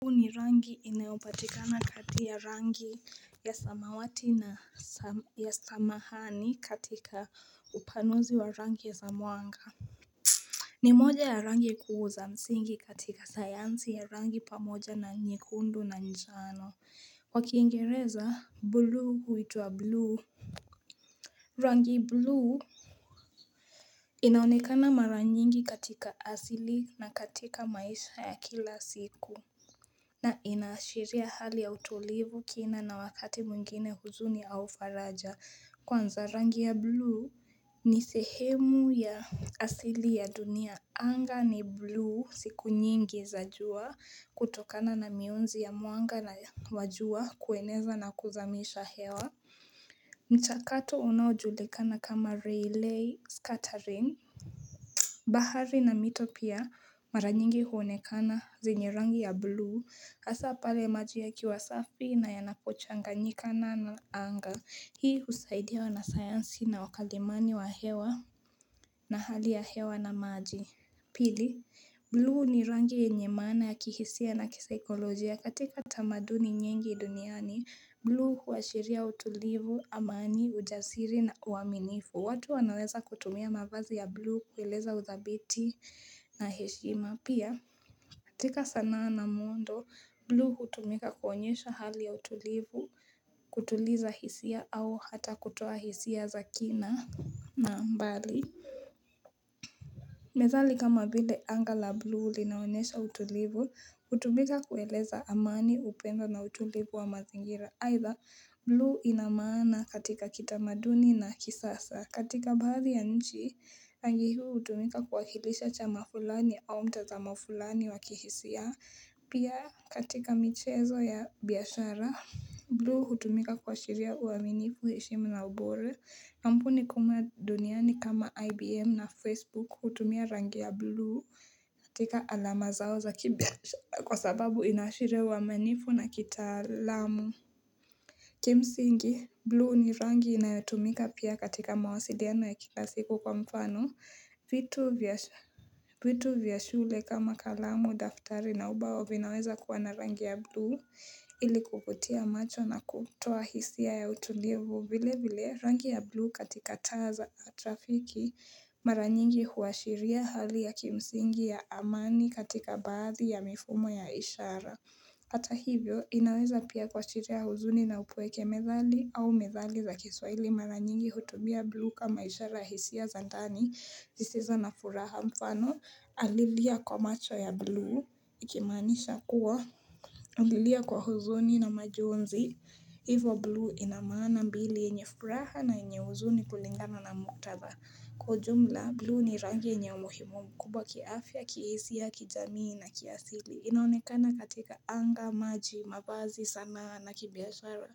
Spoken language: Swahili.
Huu ni rangi inayopatikana kati ya rangi ya samawati na ya samahani katika upanozi wa rangi ya zamwanga ni moja ya rangi kuu za msingi katika sayansi ya rangi pamoja na nyekundu na njano kwa kiingereza blu huitwa blue rangi blue inaonekana mara nyingi katika asili na katika maisha ya kila siku na inaashiria hali ya utulivu kina na wakati mwingine huzuni au faraja kwanza rangi ya blue ni sehemu ya asili ya dunia. Anga ni blue siku nyingi za jua kutokana na mionzi ya muanga na wa jua kueneza na kuzamisha hewa. Mchakato unaojulikana kama relay scattering. Bahari na mito pia mara nyingi huonekana zenye rangi ya blue hasa pale maji yakiwa safi na yanapochanganyikana na anga hii usaidia wanasayansi na wakalimani wa hewa na hali ya hewa na maji Pili, blue ni rangi yenye maana ya kihisia na kisaikolojia. Katika tamaduni nyingi duniani, blue huashiria utulivu, amani, ujasiri na uaminifu. Watu wanaweza kutumia mavazi ya blue kueleza udhabiti na heshima. Pia, katika sanaa na muundo, blue hutumika kuonyesha hali ya utulivu, kutuliza hisia au hata kutoa hisia za kina na mbali. Methali kama vile anga la blue linaonesha utulivu, utumika kueleza amani upendo na utulivu wa mazingira, either blue inamaana katika kitamaduni na kisasa, katika baadhi ya nchi, angi huu utumika kuwakilisha chama fulani au mtazamo fulani wa kihisia, pia katika michezo ya biashara, blue hutumika kuashiria uaminifu heshima na ubore. Kampuni kumwa duniani kama IBM na Facebook hutumia rangi ya blue katika alama zao za kibia kwa sababu inaashiria uaminifu na kitaalamu. Kimsingi, blue ni rangi inayotumika pia katika mawasiliano ya kila siku kwa mfano. Vitu vya shule kama kalamu, daftari na ubao vinaweza kuwa na rangi ya blue ili kuvutia macho na kutoa hisia ya utulivu vile vile rangi ya blue katika taa za trafiki mara nyingi huashiria hali ya kimsingi ya amani katika baadhi ya mifumo ya ishara ata hivyo inaweza pia kuashiria huzuni na upueke methali au methali za kiswaili mara nyingi hutumia blue kama ishara hisia za ndani zisizo na furaha mfano alilia kwa macho ya blue Ikimaanisha kuwa ulilia kwa huzuni na majonzi Hivo blue inamaana mbili enye furaha na enye huzuni kulingana na muktadha Kwa ujumla blue ni rangi yenye umuhimu mkubwa kiafya, kiesia, kijamii na kiasili inaonekana katika anga, maji, mavazi, sanaa na kibiashara